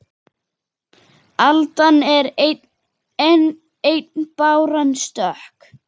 Aldan er ein báran stök